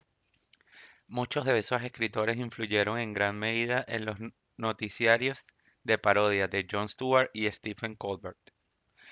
muchos de esos escritores influyeron en gran medida en los noticiarios de parodia de jon stewart y stephen colbert